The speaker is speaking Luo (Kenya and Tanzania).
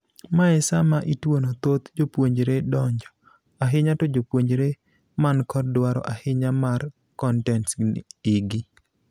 Mae sama ituono thoth jopuonjre donjo, ahinya to jopuonjre man kod dwaro ahinya mar kontents igi.